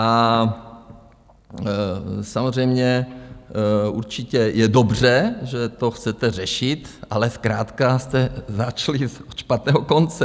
A samozřejmě určitě je dobře, že to chcete řešit, ale zkrátka jste začali ze špatného konce.